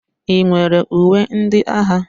Ị nwere uwe ndị agha?